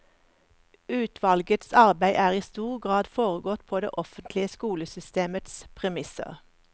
Utvalgets arbeid er i stor grad foregått på det offentlige skolesystemets premisser.